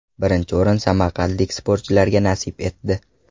Birinchi o‘rin samarqandlik sportchilarga nasib etdi.